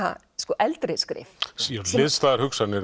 eldri skrif hliðstæðar hugsanir